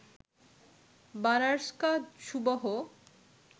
বানারসকা সুবহ